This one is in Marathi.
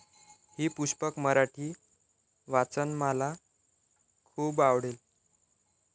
ही पुष्पक मराठी वाचनमाला खूप आवडेल.